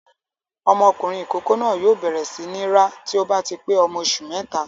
Ọmọkùnrin ìkókó náà yóò bẹ̀rẹ̀ sí ní rá tí ó bá ti pé ọmọ oṣù mẹ́ta.